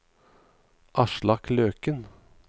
Aslak Løken